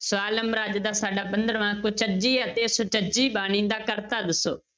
ਸਵਾਲ number ਅੱਜ ਦਾ ਸਾਡਾ ਪੰਦਰਵਾਂ ਕੁਚੱਜੀ ਅਤੇ ਸੁਚੱਜੀ ਬਾਣੀ ਦਾ ਕਰਤਾ ਦੱਸੋ।